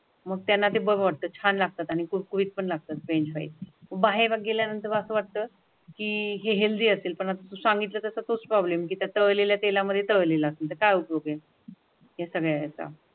मग त्यांना ते बघवत छान लागतात आणि कुरकुरीत पण लागतात फ्रेंच फ्राईज बाहेर गेल्यानंतर वाटतं की हेल्दी असतील पण आता सांगितलं तसं काहीच प्रोब्लेम तळलेल्या तेलामध्ये तळलेले लागतील काय उपयोग आहे या सगळ्याचा